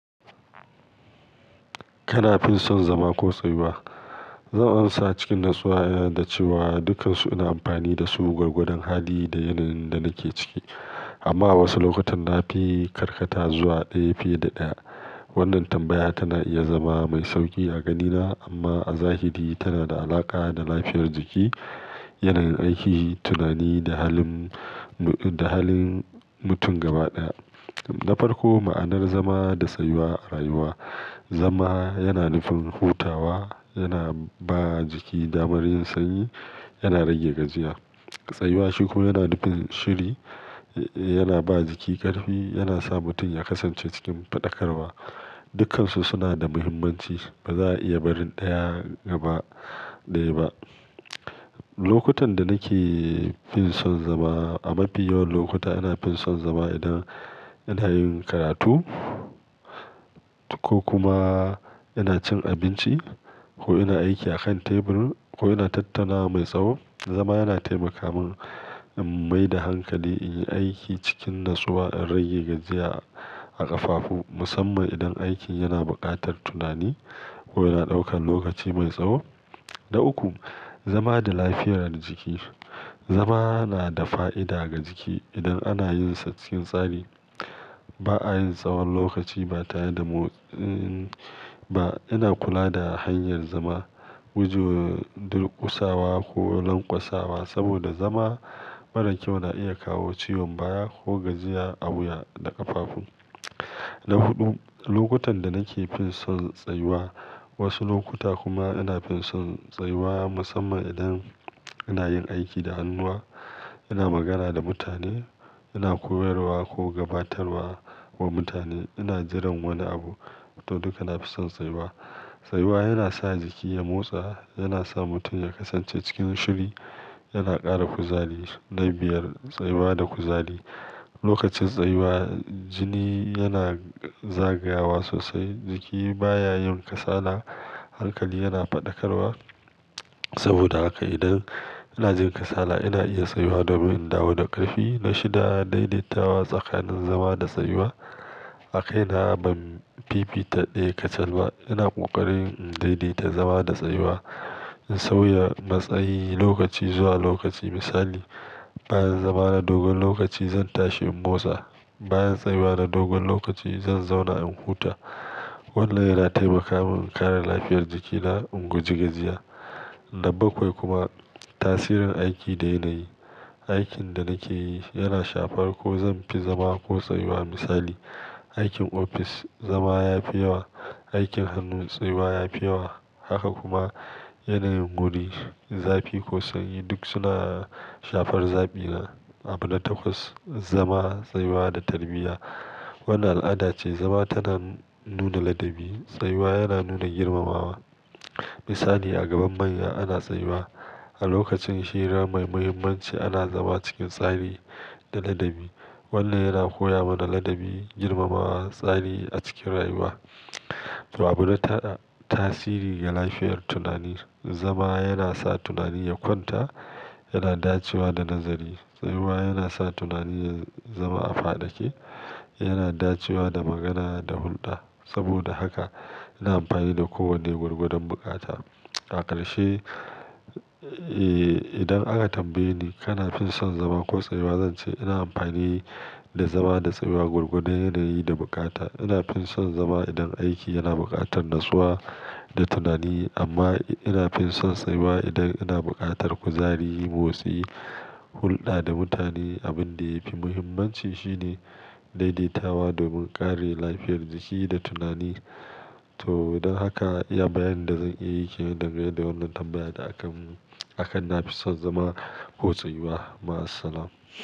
Kana fin son zama ko tsayuwa? Zan amsa cikin natsuwa da cewa dukansu ina amfani dasu gwargwadon hali da yanayin da nake ciki. Amma a wasu lokutan na fi karkata zuwa ɗaya fiye da ɗaya. Wannan tambaya tana iya zama mai sauƙi a ganina amma a zahiri tana da alaƙa da lafiyar jiki, yanayin aiki, tunani da halin, da halin mutum gaba ɗaya. Na farko, ma'anar zama da tsayuwa a rayuwa. Zama yana nufin hutawa, yana ba jiki damar yin sanyi, yana rage gajiya. Tsayuwa shi kuma yana nufin shiri, yana ba jiki ƙarfi, yana sa mutum ya kasance cikin faɗakarwa. Dukansu suna da muhimmanci. Ba za a iya barin ɗaya gaba ɗaya ba. Lokutan da nake fison zama. A mafi yawan lokuta ina fison zama idan ina yin karatu ko kuma ina cin abinci ko ina aiki akan tebur ko ina tattana mai tsawo. Zama yana taimaka min in maida hankali, in yi aiki cikin natsuwa, in rage gajiya a ƙafafu musamman idan aikin yana buƙatar tunani ko yana ɗaukan lokaci mai tsawo. Na uku, zama da lafiyar jiki. Zama na da fa'ida ga jiki idan ana yinsa cikin tsari. Ba a yin tsawon lokaci ba tare da motsi ba. Ina kula da hanyar zama, gujewa durƙusawa ko lankwasawa saboda zama marar kyau na iya kawo ciwon baya ko gajiya a wuya da ƙafafu. Na huɗu, lokutan da nake fison tsayuwa. Wasu lokuta kuma ina fin son tsayuwa musamman idan ina yin aiki da hannuwa, ina magana da mutane, ina koyarwa ko gabatarwa wa mutane, ina jiran wani abu. To, duka na fi son tsayuwa. Tsayuwa yana sa jiki ya motsa, yana sa mutum ya kasance cikin shiri, yana ƙara kuzari. Na biyar, tsayuwa da kuzari. Lokacin tsayuwa jini yana zagayawa sosai, jiki baya yin kasala, hankali yana faɗakarwa. Saboda haka idan ina jin kasala ina iya tsayuwa domin in dawo da ƙarfi. Na shida, daidaitawa tsakanin zama da tsayuwa. A kaina ban fifita ɗaya kacal ba. Ina ƙoƙarin in daidaita zama da tsayuwa, in sauya matsayi lokaci zuwa lokaci. Misali, bayan zama na dogon lokaci zan tashi in motsa. Bayan tsayuwa na dogon lokaci zan zauna in huta. Wannan yana taimaka min in ƙara lafiyar jikina, in guji gajiya. Na bakwai kuma, tasirin aiki da yanayi. Aikin da nake yi yana shafar ko zan fi zama ko tsayuwa. Misali, aikin ofis zama ya fi yawa, aikin hannu tsayuwa ya fi yawa. Haka kuma yanayin guri, zafi ko sanyi duk suna shafar zaɓina. Abu na takwas, zama, tsayuwa da tarbiyya. Wani al'ada ce zama tana nuna ladabi, tsayuwa yana nuna girmamawa. Misali a gaban manya ana tsayuwa. A lokacin hira mai muhimmanci ana zama cikin tsari da ladabi. Wannan yana koya mana ladabi, girmamawa, tsari a cikin rayuwa. To abu na tara, tasiri ga lafiyar tunani. Zama yana sa tunani ya kwanta, yana dacewa da nazari. Tsayuwa yana sa tunani ya zama a faɗake, yana dacewa da magana da hulɗa. Saboda haka ina amfani da kowanne gwargwadon bukata. A ƙarshe, eh, idan aka tambaye ni kana fison zama ko tsayuwa zan ce ina amfani da zama da tsayuwa gwargwadon yanayi da bukata. Ina fison zama idan aiki yana buƙatar natsuwa da tunani amma ina fison tsayuwa idan yana buƙatar kuzari, motsi, hulɗa da mutane. Abun da ya fi muhimmanci shine daidaitawa domin ƙare lafiyar jiki da tunani. To don haka iya bayanin da zan iya yi game da wannan tambaya da akan mu, akan na fison zama ko tsayuwa. Ma'assalam.